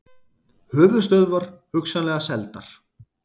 Höfuðstöðvar hugsanlega seldar